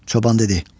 Çoban dedi: